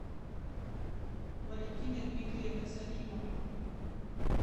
валентиной дмитриевной салимовой